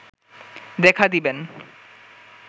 দেখা দিবেন